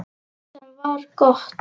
Sem var gott.